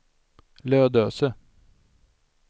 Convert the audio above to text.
Lödöse